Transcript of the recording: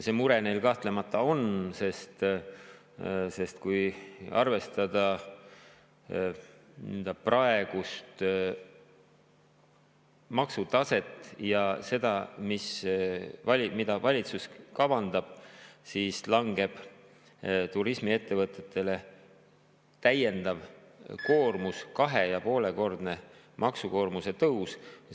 See mure neil kahtlemata on, sest kui arvestada praegust maksutaset ja seda, mida valitsus kavandab, siis langeb turismiettevõtetele täiendav koormus – 2,5‑kordne maksukoormuse tõus.